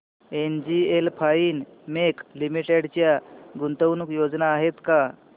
NGL Finechem limited च्या गुंतवणूक योजना आहेत का